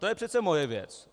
To je přece moje věc.